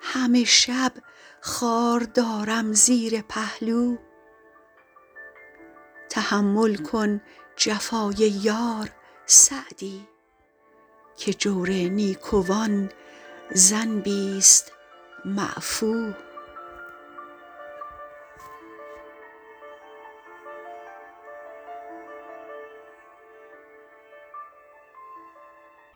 همه شب خار دارم زیر پهلو تحمل کن جفای یار سعدی که جور نیکوان ذنبیست معفو